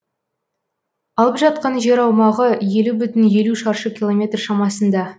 алып жатқан жер аумағы елу бүтін елу шаршы километр шамасында